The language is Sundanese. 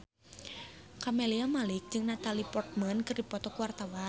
Camelia Malik jeung Natalie Portman keur dipoto ku wartawan